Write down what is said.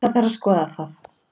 Það þarf að skoða það